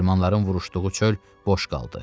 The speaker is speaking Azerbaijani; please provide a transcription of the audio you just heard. Germanların vuruşduğu çöl boş qaldı.